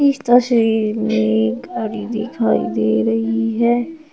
इस तस्वीर में एक गाड़ी दिखाई दे रही है।